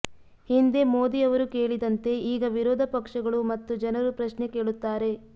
ಹಿಂದೆ ಮೋದಿ ಅವರು ಕೇಳಿದಂತೆ ಈಗ ವಿರೋಧ ಪಕ್ಷಗಳು ಮತ್ತು ಜನರು ಪ್ರಶ್ನೆ ಕೇಳುತ್ತಾರೆ